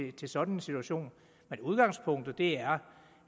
i sådan en situation men udgangspunktet er